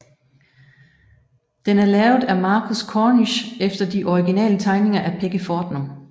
Den er lavet af Marcus Cornish efter de originale tegninger af Peggy Fortnum